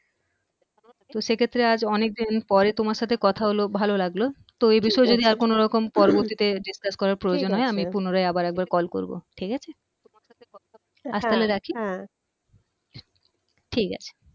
তো সেক্ষেত্রে আজ অনেক দিন পরে তোমার সাথে কথা হলো ভালো লাগলো তো এই বিষয়ে যদি কোন রকম পরবর্তিতে discuss করার প্রয়োজন হয় আমি পুনরায় আবার একবার call করবো ঠিক আছে হ্যা হ্যা ঠিক আছে